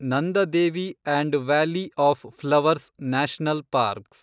Nanda Devi and valley of flowers national parks